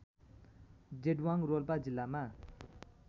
जेदवाङ रोल्पा जिल्लामा